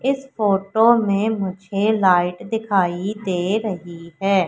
इस फोटो में मुझे लाइट दिखाई दे रही है।